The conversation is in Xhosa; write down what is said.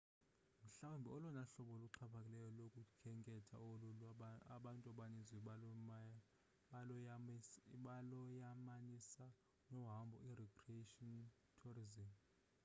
mhlawumbi olona hlobo luxhaphakileyo lokukhenketha lolu abantu abaninzi baloyamanisa nohambo i-recreation tourisim